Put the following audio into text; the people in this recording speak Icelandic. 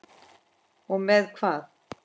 Og með hvað?